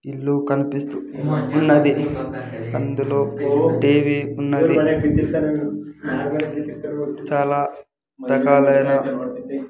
ఇల్లు కన్పిస్తూ ఉన్నది అందులో ఓ టివి ఉన్నది చాలా రకాలైన--